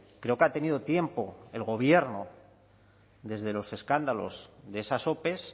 creo que ha tenido tiempo el gobierno desde los escándalos de esas ope